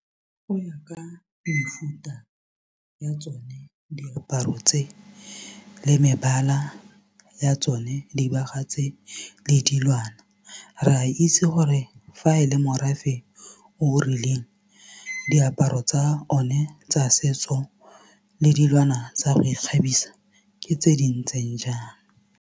Go ya ka mefuta ya tsone diaparo tse le mebala ya tsone dibaga tse le dilwana re a itse gore fa e le morafe o rileng diaparo tsa one tsa setso le dilwana tsa go ikgabisa ke tse di ntseng jang.